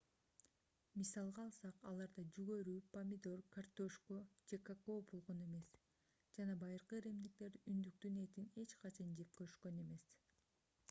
мисалга алсак аларда жүгөрү помидор картөшкө же какао болгон эмес жана байыркы римдиктер үндүктүн этин эч качан жеп көрүшкөн эмес